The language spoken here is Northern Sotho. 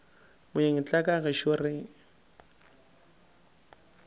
moeng tla ka gešo re